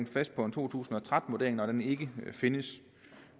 fast på en to tusind og tretten vurdering når den ikke findes